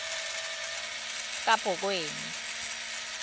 kabhokweni